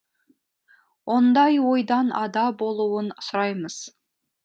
ондай ойдан ада болуын сұраймыз